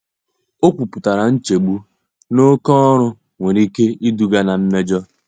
Ọ kwupụtara nchegbu na oke ọrụ nwere ike iduga na mmejọ.